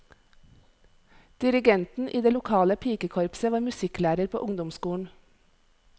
Dirigenten i det lokale pikekorpset var musikklærer på ungdomsskolen.